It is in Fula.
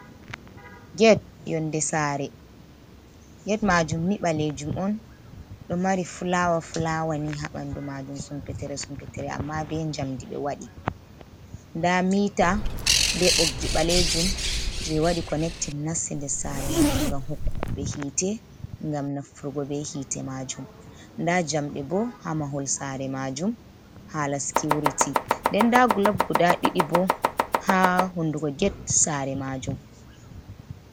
Geet yonde Sare, geet majumni ɓalejum'on ɗo mari fulawa-fulawani ha ɓandu majum Sumpetere sumpetere amma be jamdi be waɗi. Nda mita be ɓoggi ɓalejum je waɗi konektin nasti ndes Sare majum ngam hokkugo ɓe hite ngam nafturgo be hite majum, nda jamɗe bo ha Mahol Sare majum hala Sikiuriti ,nden nda gulop guda ɗiɗi bo ha hundugo ged Sare majum.